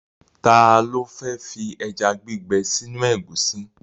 Ta ló fẹ́ fi ẹja gbígbẹ sínú ẹ̀gúsí?